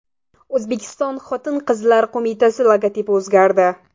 O‘zbekiston Xotin-qizlar qo‘mitasi logotipi o‘zgardi.